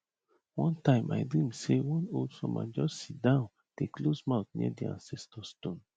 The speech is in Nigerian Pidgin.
one time i dream say one old farmer just sit down dey close mouth near di ancestor stone